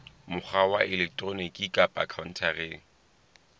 mokgwa wa elektroniki kapa khaontareng